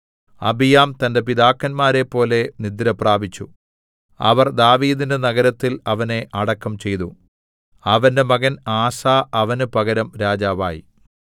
അബിയാം തന്റെ പിതാക്കന്മാരെപ്പോലെ നിദ്രപ്രാപിച്ചു അവർ ദാവീദിന്റെ നഗരത്തിൽ അവനെ അടക്കം ചെയ്തു അവന്റെ മകൻ ആസാ അവന് പകരം രാജാവായി